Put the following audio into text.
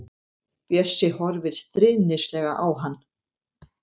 Bjössi horfir stríðnislega á hann.